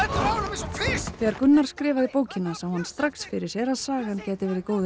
þessu þegar Gunnar skrifaði bókina sá hann strax fyrir sér að sagan gæti verið góður